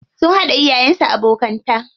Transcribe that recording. Sun haɗa iyayen su abokanta.